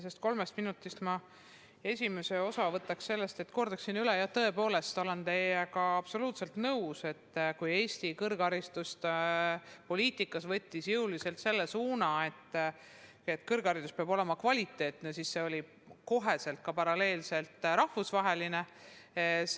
Sellest kolmest minutist esimese jooksul kordaksin ma üle – tõepoolest, olen teiega absoluutselt nõus –, et kui Eesti kõrghariduspoliitika võttis jõuliselt selle suuna, et kõrgharidus peab olema kvaliteetne, siis see tähendas kohe ka seda, et kõrgharidus peab olema paralleelselt rahvusvaheline.